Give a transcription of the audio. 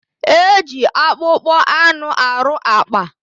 E ji akpụkpọ anụ arụ àkpà.